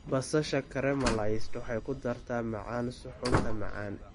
Basasha caramelized waxay ku dartaa macaan suxuunta macaan.